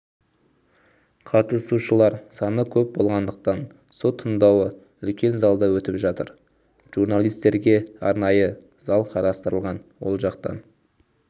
қатысушылар саны көп болғандықтан сот тыңдауы үлкен залда өтіп жатыр журналистерге арнайы зал қарастырылған ол жақтан